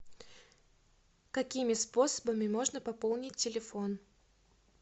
какими способами можно пополнить телефон